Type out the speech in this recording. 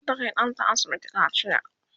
zata Kai ɗanta asibiti kaciya